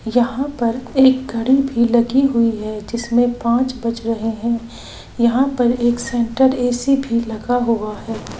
यहां पर एक घड़ी भी लगी हुई है जिसमें पांच बज रहे है यहां पर एक सेंटर ए_सी भी लगा हुआ है।